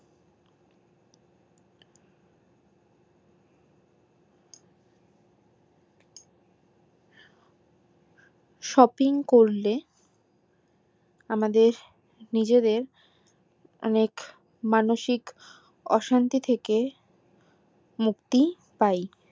shopping করলে আমাদের নিজেদের অনেক মানসিক অশান্তি থেকে মুক্তি পাই